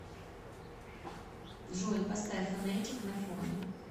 джой поставь фонетик на фоне